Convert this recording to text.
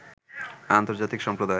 আন্তর্জাতিক সম্প্রদায়